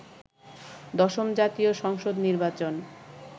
দশম জাতীয় সংসদ নির্বাচন